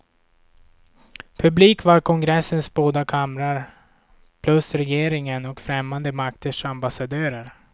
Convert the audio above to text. Publik var kongressens båda kamrar, plus regeringen och främmande makters ambassadörer.